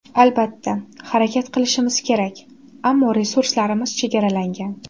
Albatta, harakat qilishimiz kerak, ammo resurslarimiz chegaralangan.